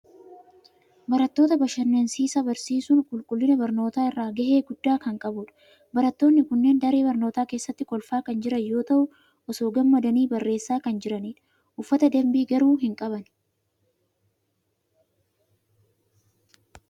Barattoota bashannansiisaa barsiisuun qulqullina barnootaa irratti gahee guddaa kan qabudha. Barattoonni kunneen daree barnootaa keessatti kolfaa kan jiran yoo ta'u, osoo gammadanii barreessaa kan jiranidha. Uffata dambii garuu hin qaban.